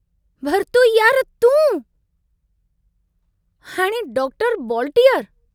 भरतू यार तूं... हाणे डॉक्टर बॉलटीअर।